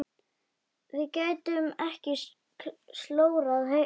Við getum ekki slórað hérna.